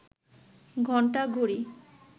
ঘন্টা, ঘড়ি